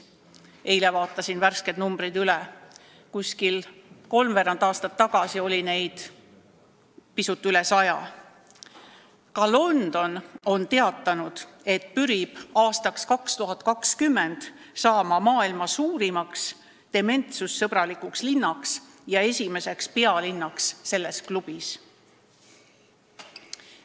Eile vaatasin värsked numbrid üle: kolmveerand aastat tagasi oli neid pisut üle 100. London on teatanud, et pürib saama aastaks 2020 maailma suurimaks dementsussõbralikuks linnaks ja esimeseks pealinnaks selles klubis.